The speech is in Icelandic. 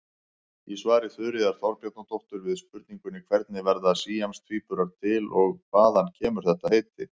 Í svari Þuríðar Þorbjarnardóttur við spurningunni Hvernig verða síamstvíburar til og hvaðan kemur þetta heiti?